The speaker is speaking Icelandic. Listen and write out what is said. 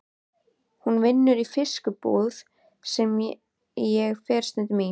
Hún vinnur í fiskbúð sem ég fer stundum í.